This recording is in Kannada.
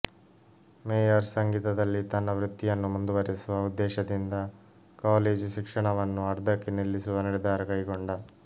ಮೇಯರ್ ಸಂಗೀತದಲ್ಲಿ ತನ್ನ ವೃತ್ತಿಯನ್ನು ಮುಂದುವರಿಸುವ ಉದ್ದೇಶದಿಂದ ಕಾಲೇಜು ಶಿಕ್ಷಣವನ್ನು ಅರ್ಧಕ್ಕೆ ನಿಲ್ಲಿಸುವ ನಿರ್ಧಾರ ಕೈಗೊಂಡ